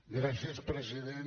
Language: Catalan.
gràcies president